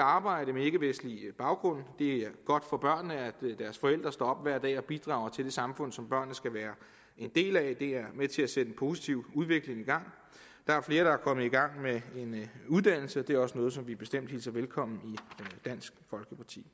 arbejde med ikkevestlig baggrund og det er godt for børnene at deres forældre står op hver dag og bidrager til det samfund som børnene skal være en del af det er med til at sætte en positiv udvikling i gang der er flere der er kommet i gang med en uddannelse og det er også noget som vi bestemt hilser velkommen i dansk folkeparti